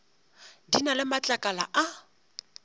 di na le matlakala a